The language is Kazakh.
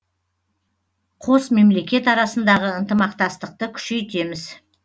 қос мемлекет арасындағы ынтымақтастықтықты күшейтеміз